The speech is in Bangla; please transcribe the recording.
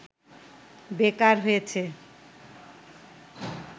বেকার হয়েছে